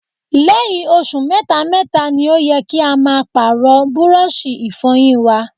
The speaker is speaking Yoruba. Lẹ́yìn oṣù mẹ́ta mẹ́ta ni ó yẹ kí a máa Pààrọ̀ búrọ́ọ̀ṣì Ìfọ̀yín wa